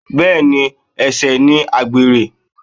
Bẹ́ẹ̀ni, ẹ̀ṣẹ̀ ni àgbèrè.